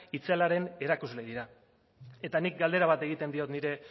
itzelaren erakusle dira eta nik galdera bat egiten diot nire